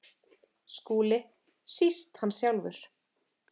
SKÚLI: Síst hann sjálfur.